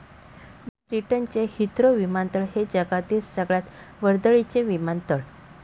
ब्रिटनचे हिथ्रो विमानतळ हे जगातील सगळयात वर्दळीचे विमानतळ.